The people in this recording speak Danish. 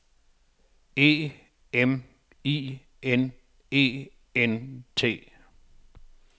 E M I N E N T